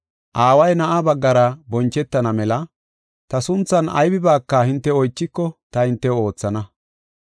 Aaway Na7aa baggara bonchetana mela ta sunthan hinte woossiya ubbaa ta hintew oothana.